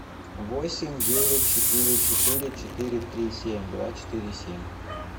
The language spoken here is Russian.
восемь девять четыре четыре четыре три семь два четыре семь